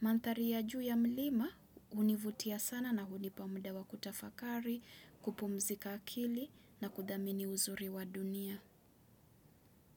Mandhari ya juu ya mlima hunivutia sana na hunipa muda wa kutafakari, kupumzika akili na kudhamini uzuri wa dunia.